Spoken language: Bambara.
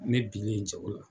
Ne binen jago la.